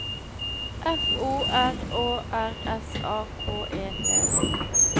F O R Å R S A K E T